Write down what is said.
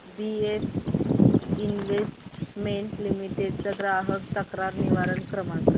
BF investment limited चा ग्राहक तक्रार निवारण क्रमांक